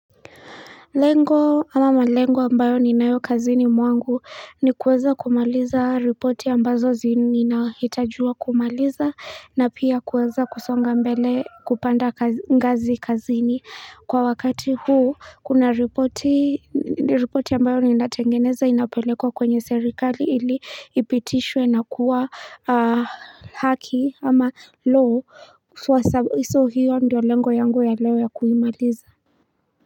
Lengo ama malengo ambayo ni nayo kazini mwangu ni kuweza kumaliza reporti ambazo zini na hitajiwa kumaliza na pia kuweza kusonga mbele kupanda ngazi kazini kwa wakati huu kuna reporti reporti ambayo ni natengeneza inapelekwa kwenye serikali ili ipitishwe na kuwa haki ama law iso hiyo ndiyo lengo yangu ya leo ya kuimaliza.